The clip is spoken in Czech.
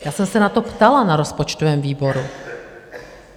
Já jsem se na to ptala na rozpočtovém výboru.